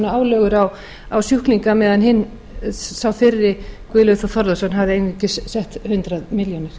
álögur á sjúklinga meðan sá fyrri guðlaugur þór þórðarson hafði einungis sett hundrað milljónir